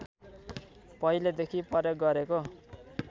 पहिलेदेखि प्रयोग गरेको